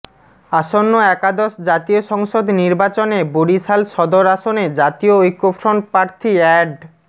আসন্ন একাদশ জাতীয় সংসদ নির্বাচনে বরিশাল সদর আসনে জাতীয় ঐক্যফ্রন্ট প্রার্থী এ্যাড